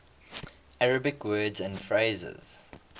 arabic words and phrases